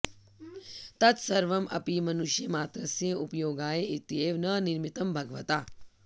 तत्सर्वम् अपि मनुष्यमात्रस्य उपयोगाय इत्येव न निर्मितं भगवता